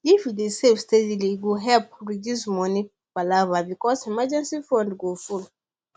if you dey save steady e go help reduce money palava because emergency fund go full